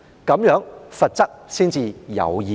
這樣，罰則才會有意義。